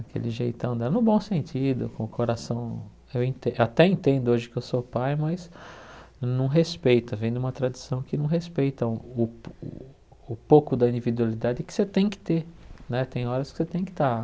Aquele jeitão dela, no bom sentido, com o coração, eu enten até entendo hoje que eu sou pai, mas não respeita, vem de uma tradição que não respeita o o o pouco da individualidade que você tem que ter né, tem horas que você tem que estar